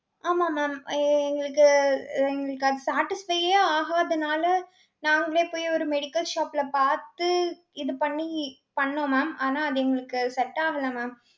ஆமா mam. எ~ எங்களுக்கு, எங்களுக்கு அது satisfy யே ஆகாதனால நாங்களே போய் ஒரு medical shop ல பார்த்து இது பண்ணி பண்ணோம் mam. ஆனா, அது எங்களுக்கு set ஆகல mam.